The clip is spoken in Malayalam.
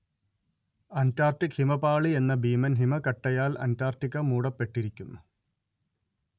അന്റാർട്ടിക് ഹിമപാളി എന്ന ഭീമൻ ഹിമക്കട്ടയാൽ അന്റാർട്ടിക്ക മൂടപ്പെട്ടിരിക്കുന്നു